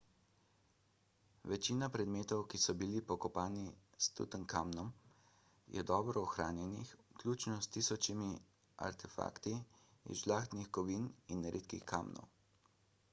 večina predmetov ki so bili pokopani s tutankamonom je dobro ohranjenih vključno s tisočimi artefakti iz žlahtnih kovin in redkih kamnov